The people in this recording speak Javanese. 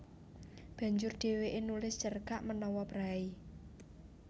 Banjur dhèwèké nulis cerkak menawa préi